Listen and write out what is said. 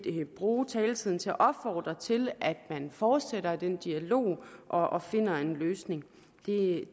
bruge taletiden til at opfordre til at man fortsætter den dialog og og finder en løsning